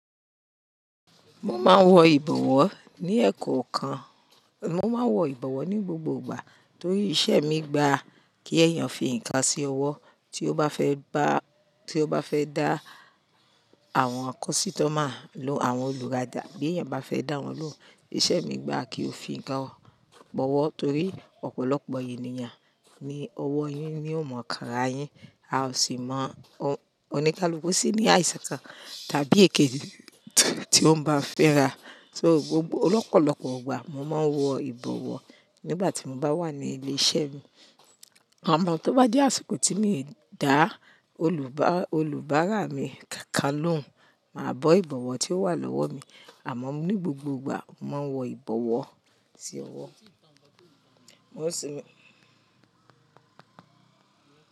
Mo máa ń wọ ìbọ̀wọ́ ní ẹ̀kọ̀ kan, mo máa ń wọ ìbọ̀wọ́ ní gbogbo ìgbà torí iṣẹ́ mi gba kí èèyàn fi nǹkan sí ọwọ́ tí ó bá fẹ́ bá, tí ó bá fẹ́ dá àwọn akọ́sítọ̀ máa lòun, àwọn olùtajà bí èèyàn bá fẹ́ dá wọn loun. Ìṣe mi gba kí ó fi nǹkan bọwọ́ torí ọ̀pọ̀lọpọ̀ ènìyàn ní ọwọ́ yín ni ó mọ ìkàrà yín. A ò sì mọ oníkálùú sí ní àìsàn kan tàbí èké tí wọ́n bá fẹ́ rà. So gbogbo, ọlọ́pọ̀lọ́pọ̀ ìgbà mo máa ń wọ ìbọ̀wọ́ nígbà tí mo bá wà ní ilé iṣẹ́ mi. Àmọ́ tó bá jẹ́ àsìkò tí mi dàa, olùbá, olùbárà mi kàákàá ló ń, màá bọ ìbọ̀wọ̀ tí ó wà lọ́wọ́ mi. Àma ní gbogbo ìgbà, màá wọ ìbọ̀wọ̀ sí ọwọ́. Mo ṣé.